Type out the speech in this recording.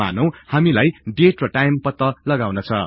मानौ हामीलाई डेट र टाईम पत्ता लगाउन छ